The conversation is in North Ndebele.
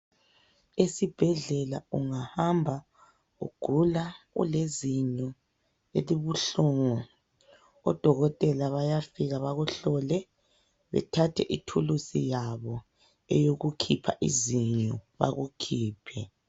Esibhedlela ungahamba ugula ulezinyo elibuhlungu odokotela bayafika bakuhlole bethathe ithuluzi yabo eyokukhipha izinyo bakukhiphe.